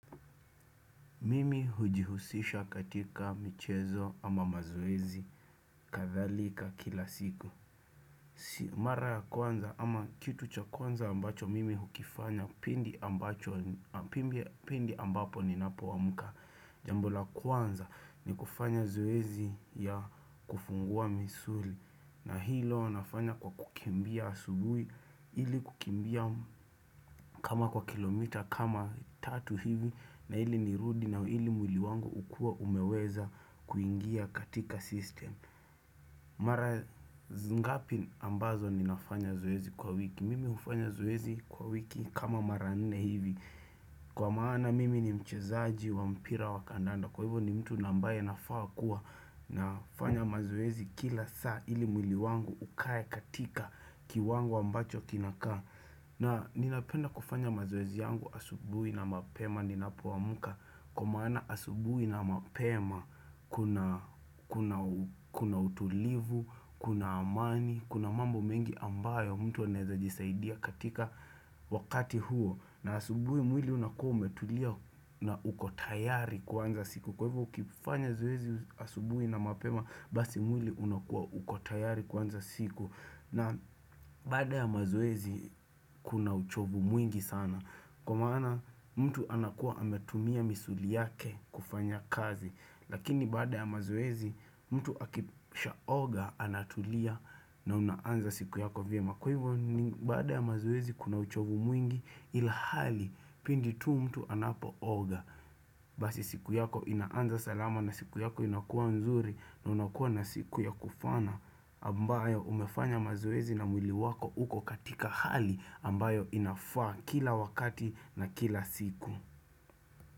Mimi hujihusisha katika michezo ama mazoezi kathalika kila siku Si mara ya kwanza ama kitu cha kwanza ambacho mimi hukifanya pindi ambacho Pindi ambapo ni napo amka Jambola kwanza ni kufanya zoezi ya kufungua misuli na hilo nafanya kwa kukimbia asubui Ili kukimbia kama kwa kilomita kama tatu hivi na ili nirudi na ili muli wangu ukue umeweza kuingia katika system Mara ngapi ambazo ninafanya zoezi kwa wiki Mimi hufanya zoezi kwa wiki kama maranne hivi Kwa maana mimi ni mchezaji wa mpira wa kandanda Kwa hivo ni mtu nambaye nafawa kuwa nafanya mazoezi kila saa ili mwili wangu ukae katika ki wango ambacho kinakaa na ninapenda kufanya mazoezi yangu asubui na mapema ni nap amka Kwa maana asubui na mapema kuna utulivu, kuna amani, kuna mambo mengi ambayo mtu anaweza jisaidia katika wakati huo na asubui mwili unakua umetulia na ukotayari kuanza siku Kwa hivyo ukifanya zoezi asubui na mapema basi mwili unakua ukotayari kuanza siku na baada ya mazoezi kuna uchovu mwingi sana. Kwa maana mtu anakua ametumia misuli yake kufanya kazi. Lakini baada ya mazoezi mtu akisha oga anatulia na unaanza siku yako vyema. Kwa hivyo ni baada ya mazoezi kuna uchovu mwingi ilhali pindi tu mtu anapo oga Basi siku yako inaanza salama na siku yako inakuwa nzuri na unakuwa na siku ya kufana ambayo umefanya mazoezi na mwili wako uko katika hali ambayo inafaa kila wakati na kila siku.